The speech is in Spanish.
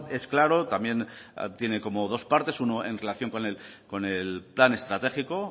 es claro también tiene como dos partes uno en relación con el plan estratégico